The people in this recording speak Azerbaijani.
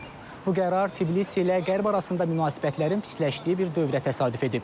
Bu qərar Tiblis ilə Qərb arasında münasibətlərin pisləşdiyi bir dövrə təsadüf edib.